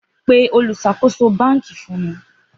Gba mi ni oluṣakoso banki!